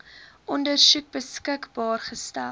ondersoek beskikbaar gestel